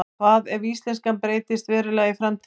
hvað ef íslenskan breytist verulega í framtíðinni